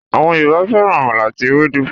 àwọn Yorùbá fẹràn àmàlà ati Ewédú